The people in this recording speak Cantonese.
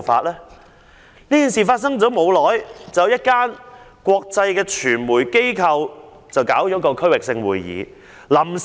在馬凱事件發生後不久，一家國際傳媒機構舉行區域性會議。